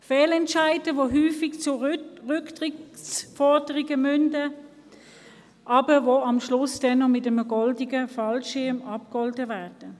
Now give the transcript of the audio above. Fehlentscheide führen häufig zu Rücktrittsforderungen, die aber am Schluss mit einem goldenen Fallschirm abgegolten werden.